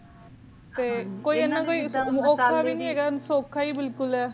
ਕੋਈ ਇਨਾ ਕੋਈ ਓਖਾ ਨਾਈ ਹੈ ਸੋਖਾ ਹੀ ਬਿਲਕੁਲ ਹੈ ਹਨ ਜੀ ਹਾਂਜੀ